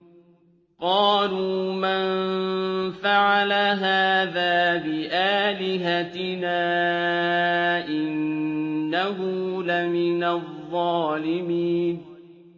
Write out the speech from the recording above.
قَالُوا مَن فَعَلَ هَٰذَا بِآلِهَتِنَا إِنَّهُ لَمِنَ الظَّالِمِينَ